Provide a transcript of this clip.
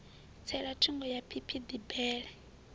tsela thungo ya phiphiḓi bele